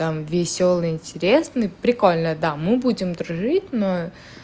там весёлый интересный прикольный да мы будем дружить но